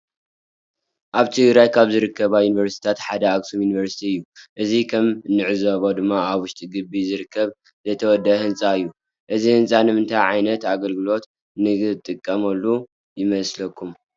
አብ ትግራየ ካብ ዝርከባ ዩኒቨርስቲታት ሓደ አከሱም ዩኒቨርስቲ እዩ። እዚ ከም እንዕዞቦ ድማ አብ ውሽጢ ግቢ ዝርከብ ዘየተወደእ ህንፃ እዩ። እዚ ህንፃ ንምንታይ ዓይነት አገልግሎት ንጥቀመሉ ይመስለኩም?